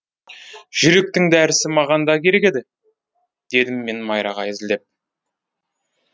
жүректің дәрісі маған да керек еді дедім мен майраға әзілдеп